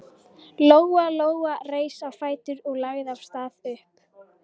Lóa Lóa reis á fætur og lagði af stað upp.